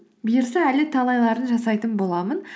бұйырса әлі талайларын жасайтын боламын